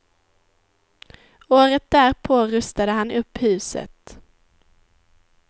Året därpå rustade han upp huset.